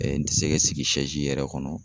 N tɛ se ka sigi yɛrɛ kɔnɔ